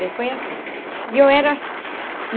Bem, foi assim e eu era.